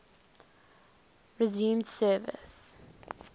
resumed service